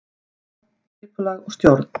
Skipulag og stjórn